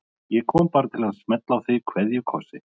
Ég kom bara til að smella á þig kveðjukossi.